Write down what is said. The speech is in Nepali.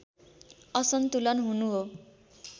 असन्तुलन हुनु हो